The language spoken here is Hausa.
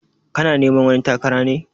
Kana neman wani takara ne?